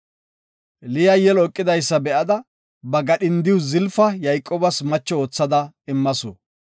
Liya yelo eqidaysa be7ada, ba gadhindiya Zalafa Yayqoobas macho oothada immasu.